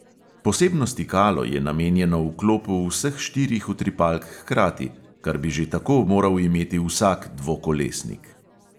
Posebno stikalo je namenjeno vklopu vseh štirih utripalk hkrati, kar bi že tako moral imeti vsak dvokolesnik.